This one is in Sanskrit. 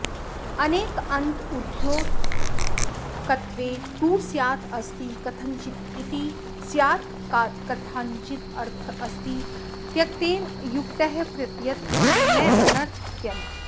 अनेकान्तद्योतकत्वे तु स्यादस्ति कथञ्चिदस्तीति स्यात्पदात्कथञ्चिदर्थोऽस्तीत्यनेनानुक्तः प्रतीयत इति नानर्थक्यम्